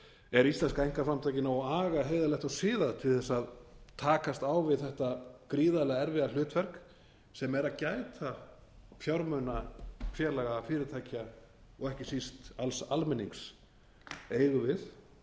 er íslenska einkaframtakið nógu agað heiðarlegt og siðað til þess að takast á við þetta gríðarlega erfiða hlutverk sem er að gæta fjármuna félaga fyrirtækja og ekki síst alls almennings eigum við